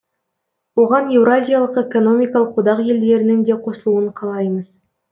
оған еуразиялық экономикалық одақ елдерінің де қосылуын қалаймыз